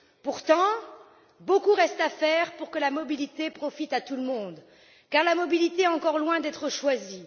Pourtant, beaucoup reste à faire pour que la mobilité profite à tout le monde, car elle est encore loin d'être choisie